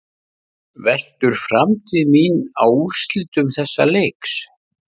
Veltur framtíð mín á úrslitum þessa leiks?